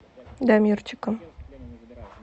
дамирчиком